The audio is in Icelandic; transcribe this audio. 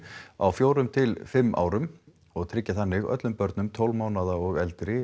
á fjórum til fimm árum og tryggja þannig öllum börnum tólf mánaða og eldri